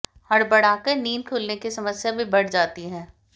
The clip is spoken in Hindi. हड़बड़ाकर नींद खुलने की समस्या भी बढ़ जाती है